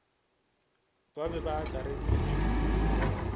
ba e be e akareditšwe